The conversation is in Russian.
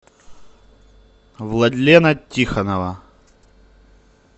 владлена тихонова